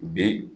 Bi